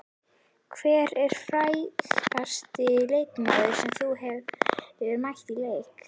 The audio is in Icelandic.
Hver er frægasti leikmaðurinn sem þú hefur mætt í leik?